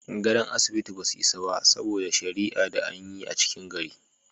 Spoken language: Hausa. Godo'n asibiti ba su isa ba, saboda sharia da an yi a cikin gari.